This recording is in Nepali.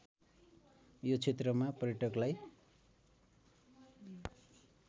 यो क्षेत्रमा पर्यटकलाई